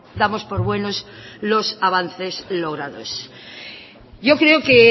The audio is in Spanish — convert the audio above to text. damos por buenos los avances logrados yo creo que